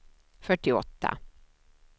fyrtioåtta